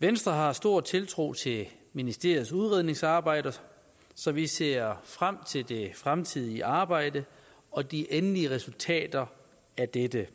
venstre har stor tiltro til ministeriets udredningsarbejde så vi ser frem til det fremtidige arbejde og de endelige resultater af dette